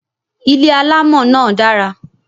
Ilé alamo náà dara